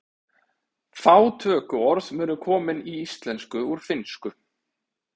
Fá tökuorð munu komin í íslensku úr finnsku.